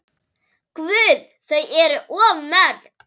Guð, þau eru of mörg.